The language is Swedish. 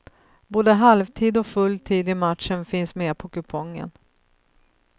Både halvtid och full tid i matchen finns med på kupongen.